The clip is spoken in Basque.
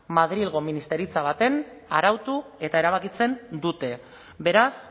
madrilgo ministeritza batean arautu eta erabakitzen dute beraz